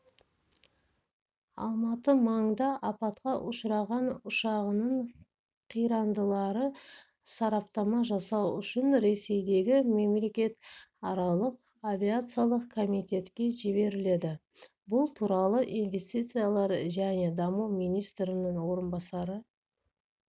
алматы маңыңда апатқа ұшыраған ұшағының қирандылары сараптама жасау үшін ресейдегі мемлекетаралық авиациялық комитетке жіберіледі бұл туралы инвестициялар және даму министрінің орынбасары